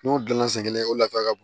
N'o dilanna sen kelen o nafa ka bon